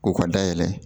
U ka dayɛlɛ